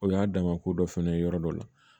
O y'a dama ko dɔ fɛnɛ ye yɔrɔ dɔ la